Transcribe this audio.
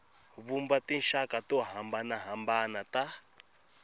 vumba tinxaka to hambanahambana ta